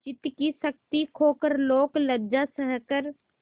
चित्त की शक्ति खोकर लोकलज्जा सहकर